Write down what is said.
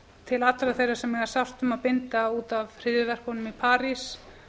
til allra þeirra sem eiga sárt um að binda út af hryðjuverkunum í parís